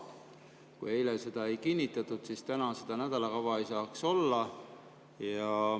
Kui eile seda ei kinnitatud, siis täna seda nädalakava ei saaks olla.